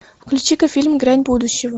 включи ка фильм грань будущего